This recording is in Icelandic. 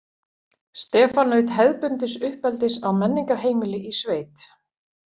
Stefán naut hefðbundins uppeldis á menningarheimili í sveit.